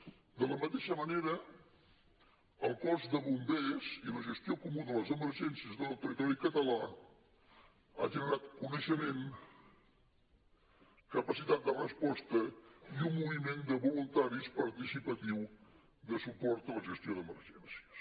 de la mateixa manera el cos de bombers i la gestió comuna de les emergències de tot el territori català han generat coneixement capacitat de resposta i un moviment de voluntaris participatiu de suport a la gestió d’emergències